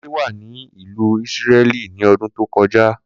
Kunle wà ní ìlú Ísírẹ́lì ní ọdún tó kọjá